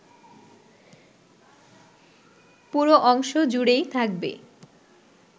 পুরো অংশ জুড়েই থাকবে